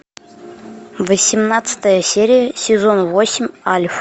восемнадцатая серия сезон восемь альф